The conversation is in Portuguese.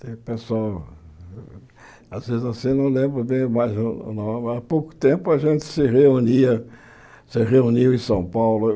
Tem pessoal, às vezes assim não lembro bem, mas há pouco tempo a gente se reunia, se reuniu em São Paulo.